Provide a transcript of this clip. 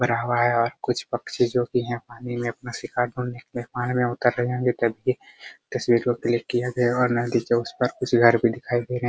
और कुछ पक्षी जो की यहाँ पानी में अपने शिकार ढूंढने पानी में उतर रहे होंगे तभी तस्वीर को क्लिक किया गया होगा कुछ घर भी दिखाई दे रहे हैं ।